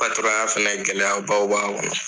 Patɔrɔnya fana gɛlɛya baw b'a kɔnɔ